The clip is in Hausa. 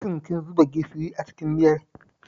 Shin kin zuba gishiri a cikin miyar?